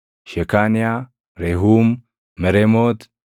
Shekaaniyaa, Rehuum, Mereemooti,